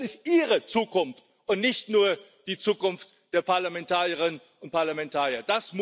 Denn es ist ihre Zukunft und nicht nur die Zukunft der Parlamentarierinnen und Parlamentarier.